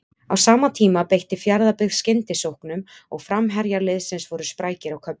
Á sama tíma beitti Fjarðabyggð skyndisóknum og framherjar liðsins voru sprækir á köflum.